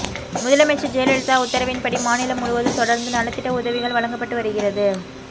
முதலமைச்சர் ஜெயலலிதா உத்தரவின்படி மாநிலம் முழுவதும் தொடர்ந்து நலத்திட்ட உதவிகள் வழங்கப்பட்டு வருகிறது